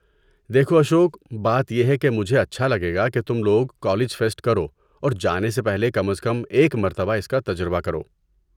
دیکھو اشوک، بات یہ ہے کہ مجھے اچھا لگے گا کہ تم لوگ کالج فیسٹ کرو اور جانے سے پہلے کم از کم ایک مرتبہ اس کا تجربہ کرو۔